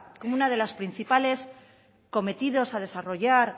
como uno de los principales cometidos a desarrollar